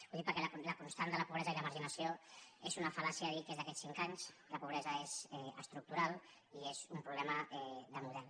ho dic perquè la constant de la pobresa i la marginació és una fal·làcia dir que és d’aquests cinc anys la pobresa és estructural i és un problema de model